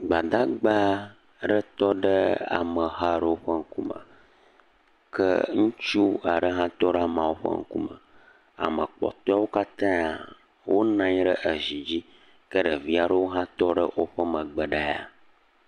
gbadagba ɖe tɔ ɖe ameha ɖe ƒe ŋkume ke ŋutsu aɖe hã tɔɖe amawo ƒe ŋkume ame kpɔtoeawo katã wó nɔnyi ɖe ezi dzi ke ɖevaiɖewo ha tɔɖe wóƒe megbe ɖaa